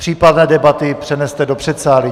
Případné debaty přeneste do předsálí.